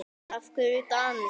En af hverju dans?